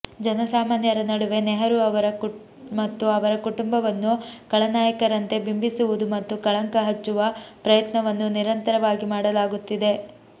ಜನಸಾಮಾನ್ಯರ ನಡುವೆ ನೆಹರೂ ಮತ್ತು ಅವರ ಕುಟುಂಬವನ್ನು ಖಳನಾಯಕರಂತೆ ಬಿಂಬಿಸುವುದು ಮತ್ತು ಕಳಂಕ ಹಚ್ಚುವ ಪ್ರಯತ್ನವನ್ನು ನಿರಂತರವಾಗಿ ಮಾಡಲಾಗುತ್ತಿದೆ